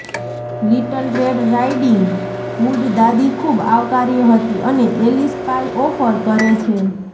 little Red Riding Hood દાદી ખૂબ આવકાર્ય હતી અને એલિસ પાઈ ઓફર કરે છે